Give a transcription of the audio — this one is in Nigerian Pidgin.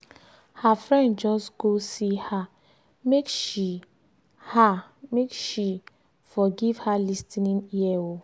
her friend just go see her make she her make she for give her lis ten ing ear um